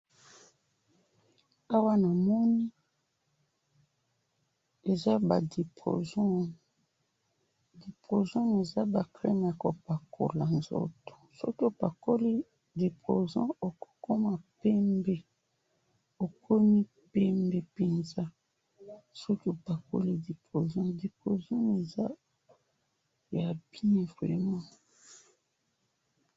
awa namoni eza ba diproson, diproson oyo eza ba creme ya ko pakula nzoto soki opakoli diproson okokoma pembe, okomi pembe penza soki opakoli diproson ,diproson oyo eza ya bien vraiment.